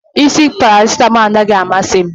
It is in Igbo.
Isi paracetamol adịghị amasị m